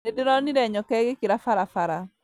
Nĩndĩronire nyoka ĩgĩkĩra barabara